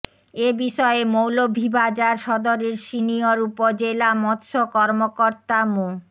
এ বিষয়ে মৌলভীবাজার সদরের সিনিয়র উপজেলা মৎস্য কর্মকর্তা মো